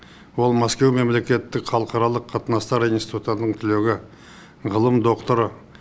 ол мәскеу мемлекеттік халықаралық қатынастар институтының түлегі ғылым докторы